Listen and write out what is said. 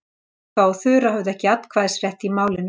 Bogga og Þura höfðu ekki atkvæðisrétt í málinu.